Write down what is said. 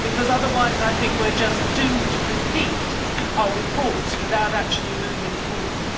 Otherwise, I think we are just doomed to repeat our reports without actually moving forward.